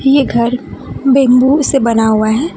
ये घर बैम्बू से बना हुआ है।